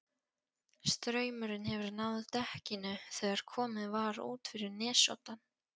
Straumurinn hefur náð dekkinu þegar komið var út fyrir nesoddann.